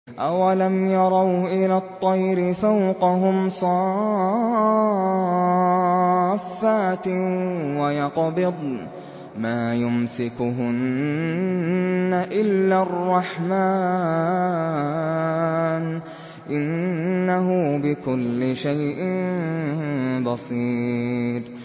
أَوَلَمْ يَرَوْا إِلَى الطَّيْرِ فَوْقَهُمْ صَافَّاتٍ وَيَقْبِضْنَ ۚ مَا يُمْسِكُهُنَّ إِلَّا الرَّحْمَٰنُ ۚ إِنَّهُ بِكُلِّ شَيْءٍ بَصِيرٌ